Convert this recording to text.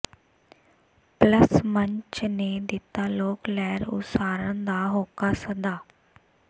plus ਮੰਚ ਨੇ ਦਿੱਤਾ ਲੋਕ ਲਹਿਰ ਉਸਾਰਨ ਦਾ ਹੋਕਾ ਸੱਦਾ